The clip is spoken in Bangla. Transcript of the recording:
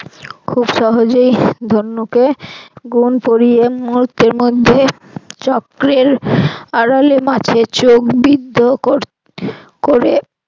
খুব সহজেই ধনুকে গুন পরিয়ে মুহুর্তের মধ্যেই চক্রের আড়ালে মাছের চোখ বিদ্ধ ক~ করে